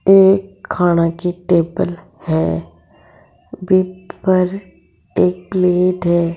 एक खाना की टेबल है बि पर एक प्लेट है।